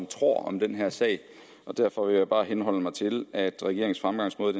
tror om den her sag derfor vil jeg bare henholde mig til at regeringens fremgangsmåde